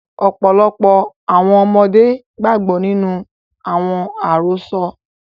Ọ́pọlọpọ́ àwọn ọmọde gbàgbọ ninu àwọn àrosọ́.